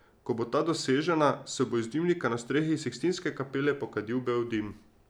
Ko bo ta dosežena, se bo iz dimnika na strehi Sikstinske kapele pokadil bel dim.